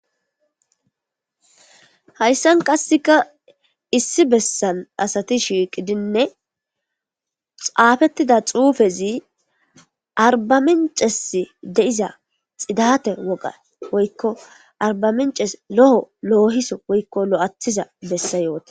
Hayssan qasseka issi bessan asati shiiqidinne xaafettida xuufezi arbaminces deiza xidate woga woykko arbamences lo'o loohiso woykko lo'athiza bessa yoote.